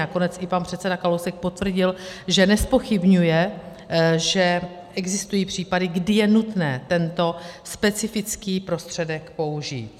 Nakonec i pan předseda Kalousek potvrdil, že nezpochybňuje, že existují případy, kdy je nutné tento specifický prostředek použít.